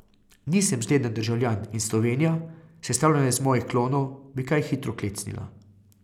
Nisem zgleden državljan in Slovenija, sestavljena iz mojih klonov, bi kaj hitro klecnila.